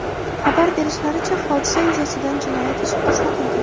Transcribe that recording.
Xabar berishlaricha, hodisa yuzasidan jinoyat ishi qo‘zg‘atilgan.